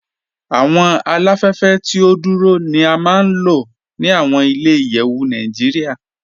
Awọn aláfẹ̀fẹ̀ tí o dúró ni à máa n lọ ni awọn ilẹ̀-ìyẹ̀wù Naijíríà.